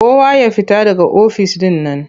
Kowa ya fita daga ofis ɗin nan!